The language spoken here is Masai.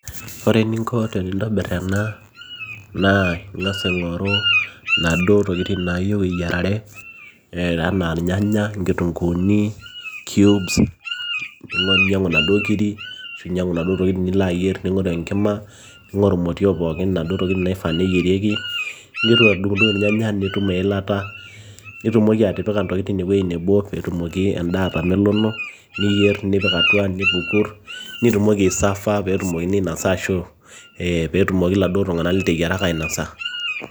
Ore eninko tenintabir ena naa ing'as aing'oru naduoo tokitin naayieu eyiarare enaa irnyanya, inkitunkuuni ,cubes ninyiang'u inaduoo kirii onaduo tokitin lino ayier ning'oru enkima ning'oru imotiok pookin ontokitin naifaa neyierieki ninteru adung'udung irnyanya nitum eilata nitumoki atipika intokitin ewueji nebo peitumoki endaa atamelono niyieer nipik atua nipiku nitumoki aisafaa peetumokini aainosa ashuu ee peetumoki iladuo liteyieraka ainosa.